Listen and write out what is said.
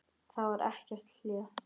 Það var ekkert hlé.